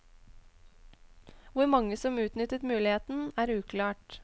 Hvor mange som utnyttet muligheten, er uklart.